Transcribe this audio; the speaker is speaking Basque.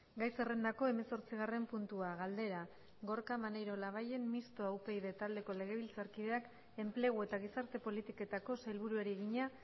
gai zerrendako hemezortzigarren puntua galdera gorka maneiro labayen mistoa upyd taldeko legebiltzarkideak enplegu eta gizarte politiketako sailburuari egina